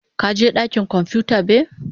ka je dakin kwamfuta be?